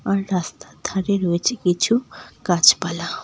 আর রাস্তার ধারে রয়েছে কিছু গাছপালা।